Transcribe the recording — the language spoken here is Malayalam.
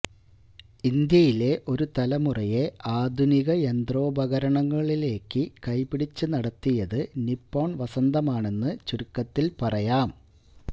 ഇന്ത്യയിലെ ഒരു തലമുറയെ ആധുനിക യന്ത്രോപകരണങ്ങളിലേക്ക് കൈപിടിച്ച് നടത്തിയത് നിപ്പോണ് വസന്തമാണെന്ന് ചുരുക്കത്തില് പറയാം